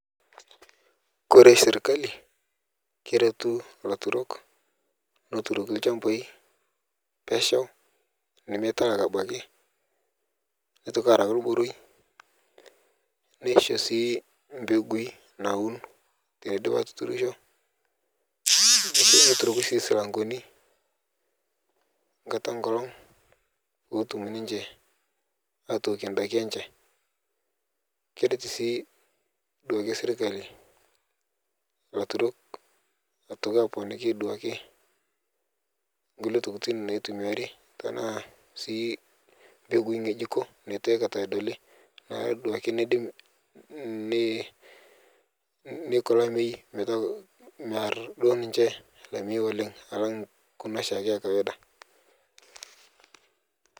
Kore sirikali keretuu laaturok aturokii lchambai peshauu nimetaa arabakii, neetokii arauu lmurui nishoo sii mbegui nauun tene idiip atuturusho. Neturokii sii silang'oni nkaata e nkolong poo otuum ninchee atookie ndaaki enchee. Kereet sii duake sirikali laaturok atua aponiiki duake nkulee ntokitin naitumiari tana sii mbegui ng'ejukoo natuu akaata adolii naa duake nediim neikoo laimei metaa maardoo ninchee laimei oleng alang' kuna shaake e kawaida.